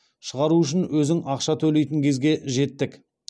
шығару үшін өзің ақша төлейтін кезге жеттік